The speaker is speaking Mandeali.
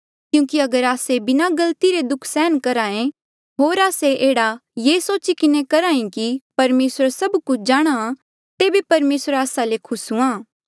क्यूंकि अगर आस्से बिना गलती रे दुःख सहन करहे होर आस्से एह्ड़ा ये सोची किन्हें करहे कि परमेसर सभ कुछ जाणहां तेबे परमेसर आस्सा ले खुस हुआ